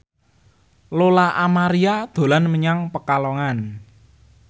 Lola Amaria dolan menyang Pekalongan